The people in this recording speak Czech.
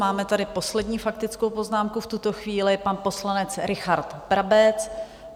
Máme tady poslední faktickou poznámku v tuto chvíli, pan poslanec Richard Brabec.